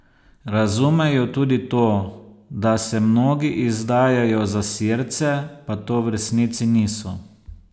Razumejo tudi to, da se mnogi izdajajo za Sirce, pa to v resnici niso.